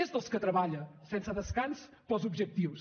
és dels que treballa sense descans per als objectius